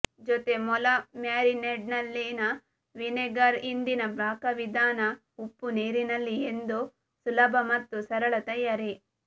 ಜೊತೆ ಮೊಲ ಮ್ಯಾರಿನೇಡ್ನಲ್ಲಿನ ವಿನೆಗರ್ ಹಿಂದಿನ ಪಾಕವಿಧಾನ ಉಪ್ಪುನೀರಿನಲ್ಲಿ ಎಂದು ಸುಲಭ ಮತ್ತು ಸರಳ ತಯಾರಿ